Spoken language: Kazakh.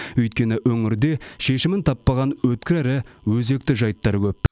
өйткені өңірде шешімін таппаған өткір әрі өзекті жайттар көп